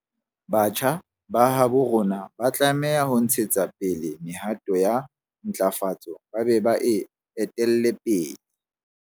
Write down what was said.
Batjha ba habo rona ba tlameha ho ntshetsa pele mehato ya ntlafatso ba be ba e etelle pele.